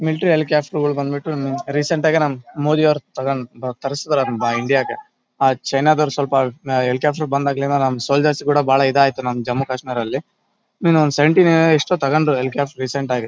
Military helicopter ಗಳು ಬಂದ್ಬಿಟ್ಟು recent ಗ್ ಮೋದಿ ಅವ್ರ್ ತರಸ್ತಾರಂತೆ ಬಾ ಇಂಡಿಯಾ ಗೆ ಆ ಚೈನಾ ದವ್ರ ಸ್ವಲ್ಪ ಹೆಲಿಕ್ಯಾಪ್ಟರ್ ಬಂದಾಗ್ಲಿಂದ ನಮ್ ಸೋಲ್ಜರ್ ಗಳ್ ಕೂಡ ಬಹಳ ಇದಾಯ್ತು ನಮ್ ಜಮ್ಮು ಕಾಶ್ಮೀರ ದಲ್ಲಿ ಎಷ್ಟೋ ತಗೊಂಡ್ರು ರೀಸೆಂಟ್ ಆಗಿ .